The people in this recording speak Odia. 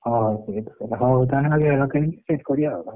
ହଉ ସେଇଟି କରିବା ହଉ ତାହେଲେ ସେଠି କରିବା ଆଉ।